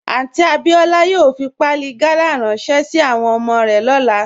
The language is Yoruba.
Aunty Abiola yòò fí pàálì gàlà ránṣẹ̀ sí àwọn ọmọ rẹ̀ lọ́lá